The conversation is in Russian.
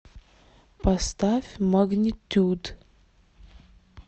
поставь магнетюд